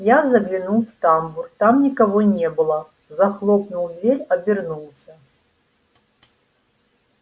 я заглянул в тамбур там никого не было захлопнул дверь обернулся